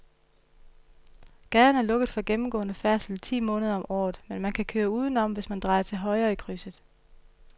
Gaden er lukket for gennemgående færdsel ti måneder om året, men man kan køre udenom, hvis man drejer til højre i krydset.